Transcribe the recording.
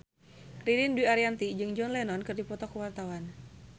Ririn Dwi Ariyanti jeung John Lennon keur dipoto ku wartawan